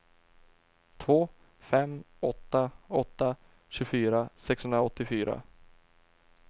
två fem åtta åtta tjugofyra sexhundraåttiofyra